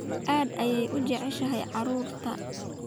Aad ayaan u jeclahay carruurta